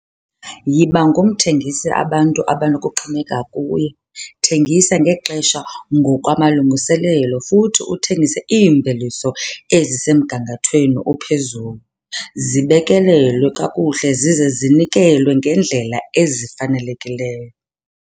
Yiba ngumthengisi abantu abanokuxhomekeka kuye, thengisa ngexesha ngokwamalungiselelo futhi uthengise iimveliso ezisemgangathweni ophezulu, zibekelelwe kakuhle zize zinikelwe ngendlela ezifanelekileyo.